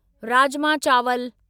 राजमा चावल